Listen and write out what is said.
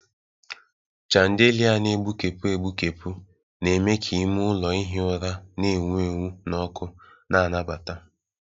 Chandelia na-egbukepụ egbukepụ na-eme ka ime ụlọ ihi ụra na-enwu enwu na ọkụ na-anabata.